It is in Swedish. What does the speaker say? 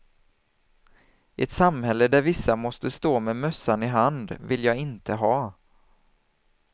Ett samhälle där vissa måste stå med mössan i hand, vill jag inte ha.